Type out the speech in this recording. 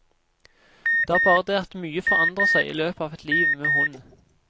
Det er bare det at mye forandrer seg i løpet av et liv med hund.